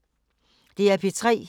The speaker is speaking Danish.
DR P3